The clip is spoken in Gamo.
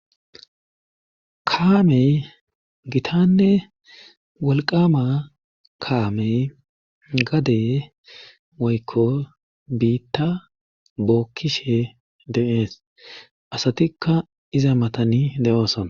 Kaamey gitanne walqama kaamey gadey woykko biitta bookkishe demees asatikka iza matani de7ooson.